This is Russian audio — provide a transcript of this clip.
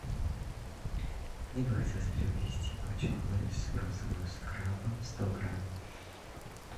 мне бы хотелось приобрести пачку лейс розовую с крабом сто грамм